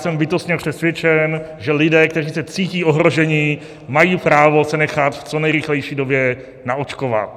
Jsem bytostně přesvědčen, že lidé, kteří se cítí ohroženi, mají právo se nechat v co nejrychlejší době naočkovat.